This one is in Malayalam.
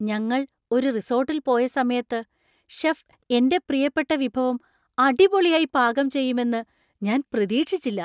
ഞങ്ങൾ ഒരു റിസോർട്ടിൽ പോയ സമയത്ത് ഷെഫ് എന്‍റെ പ്രിയപ്പെട്ട വിഭവം അടിപൊളിയായി പാകം ചെയ്യുമെന്ന് ഞാൻ പ്രതീക്ഷിച്ചില്ല.